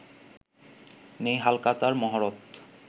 নেই ‘হালখাতা’র মহরত